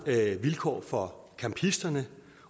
vilkår for campisterne